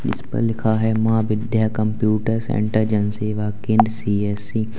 जिसपर लिखा है Maa Vidya computer centre Jan Seva Kendra CSC.